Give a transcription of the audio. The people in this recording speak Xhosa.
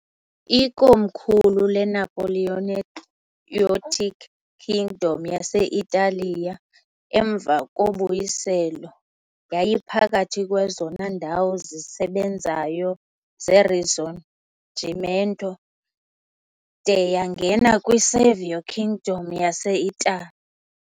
Ikomkhulu leNapoleonic Kingdom yase-Italiya, emva koBuyiselo yayiphakathi kwezona ndawo zisebenzayo zeRisorgimento, de yangena kwi-Savoy Kingdom yase-Itali .